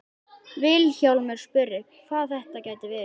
Vilhjálmur spurði hvað þetta gæti verið.